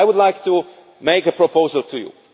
I would like to make a proposal to you.